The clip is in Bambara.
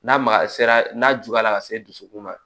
N'a magayara n'a juguyala ka se dusukun ma